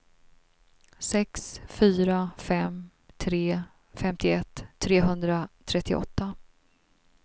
sex fyra fem tre femtioett trehundratrettioåtta